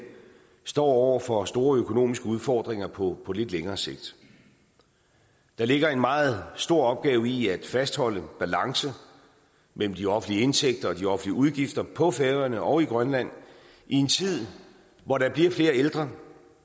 står over for store økonomiske udfordringer på lidt længere sigt der ligger en meget stor opgave i at fastholde en balance mellem de offentlige indtægter og de offentlige udgifter på færøerne og i grønland i en tid hvor der bliver flere ældre